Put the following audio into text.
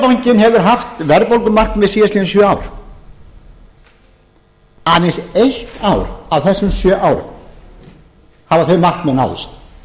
seðlabankinn hefur haft verðbólgumarkmið síðastliðin sjö ár aðeins eitt ár af þessum sjö árum hafa þau markmið náðst